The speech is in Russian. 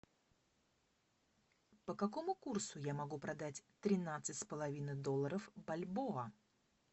по какому курсу я могу продать тринадцать с половиной долларов бальбоа